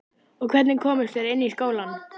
Og hvernig komust þeir inn í skólann?